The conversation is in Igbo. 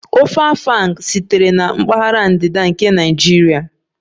Ofe Afang sitere na mpaghara ndịda nke Naijiria